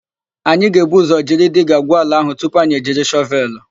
Anyị ga-ebu ụzọ jiri diga gwuo ala áhụ̀ tupu anyị ejiri shọvelụ.